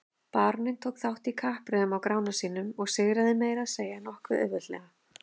Baróninn tók þátt í kappreiðunum á Grána sínum og sigraði meira að segja nokkuð auðveldlega.